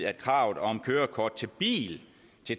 at kravet om kørekort til bil